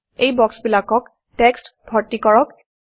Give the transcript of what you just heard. এই বক্সবিলাকত টেক্সট্ ভৰ্তি কৰক